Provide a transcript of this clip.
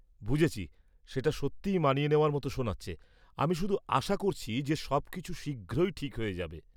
বুঝেছি, সেটা সত্যিই মানিয়ে নেওয়ার মতো শোনাচ্ছে; আমি শুধু আশা করছি যে সবকিছু শীঘ্রই ঠিক হয়ে যাবে।